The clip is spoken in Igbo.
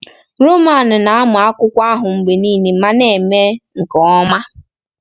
Roman na-amụ akwụkwọ ahụ mgbe niile ma na-eme nke ọma.